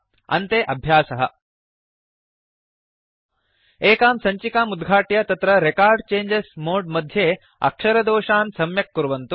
अन्ते अभ्यासः एकां सञ्चिकाम् उद्घाट्य तत्र रेकॉर्ड चेंजेस् मोड् मध्ये अक्षरदोषान् सम्यक् कुर्वन्तु